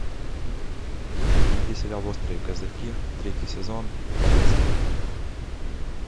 найди сериал острые козырьки третий сезон вторая серия